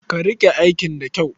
Ka riƙe aikin da kyau.